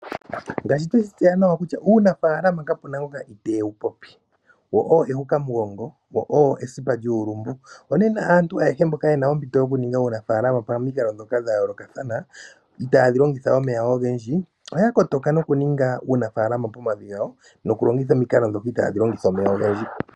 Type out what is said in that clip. Ngaashi tweshi tseya nawa kutya uunafaalama kapu na ngoka i tewu popi. Owo ehukamugongo, wo owo esipa lyuulumbu. Onena aantu ayehe mboka ye na ompito yokuninga uunafaalama pamikalo ndhoka dha yoolokathana itaadhi longitha omeya ogendji, ya kotoka nokuninga uunafaalama pomavi gawo nokulongitha omikalo ndhoka itaadhi longitha omeya ogendji.